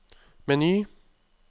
meny